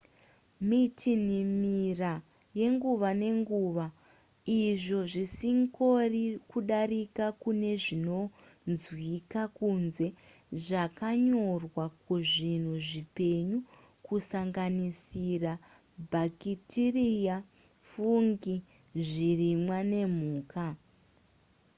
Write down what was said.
mitinhimira yenguva nenguva izvo zvisingori kudaira kunezvinonzwika kunze zvakanyorwa kuzvinhu zvipenyu kusanganisira bhakitiriya fungi zvirimwa nemhuka